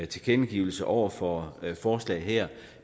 tilkendegivelser over for forslaget her